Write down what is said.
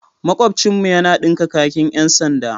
Makwabcinmu yana dinka kakin 'yan sanda.